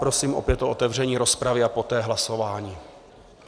Prosím opět o otevření rozpravy a poté hlasování.